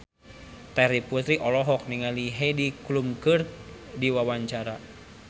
Terry Putri olohok ningali Heidi Klum keur diwawancara